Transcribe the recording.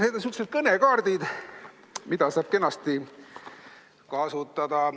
Need on sihukesed kõnekaardid, mida saab kenasti kasutada.